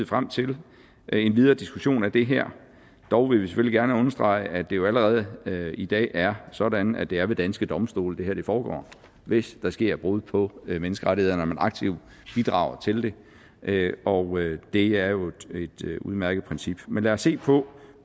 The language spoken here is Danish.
frem til en videre diskussion af det her dog vil vi selvfølgelig gerne understrege at det jo allerede i dag er sådan at det er ved danske domstole det her foregår hvis der sker brud på menneskerettighederne og man aktivt bidrager til det og det er jo et udmærket princip men lad os se på